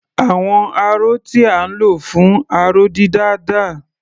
Àwọn aró tí à ń lò fún aró-dídà dà?